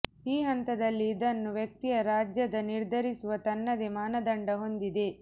ಈ ಹಂತದಲ್ಲಿ ಇದನ್ನು ವ್ಯಕ್ತಿಯ ರಾಜ್ಯದ ನಿರ್ಧರಿಸುವ ತನ್ನದೇ ಮಾನದಂಡ ಹೊಂದಿದೆ